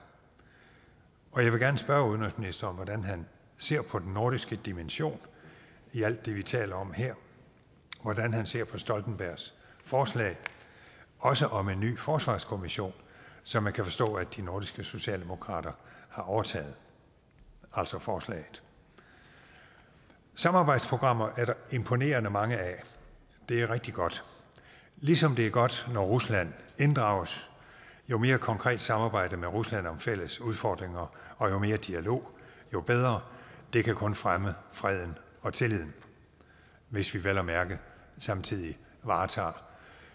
og jeg vil gerne spørge udenrigsministeren om hvordan han ser på den nordiske dimension i alt det vi taler om her hvordan han ser på stoltenbergs forslag også om en ny forsvarskommission som man kan forstå de nordiske socialdemokrater har overtaget altså forslaget samarbejdsprogrammer er der imponerende mange af det er rigtig godt ligesom det er godt når rusland inddrages jo mere konkret samarbejde med rusland om fælles udfordringer og jo mere dialog jo bedre det kan kun fremme freden og tilliden hvis vi vel at mærke samtidig varetager